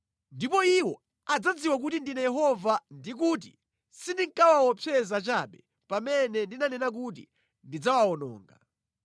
Ndipo iwo adzadziwa kuti ndine Yehova ndi kuti sindinkawaopseza chabe pamene ndinanena kuti ndidzawawononga.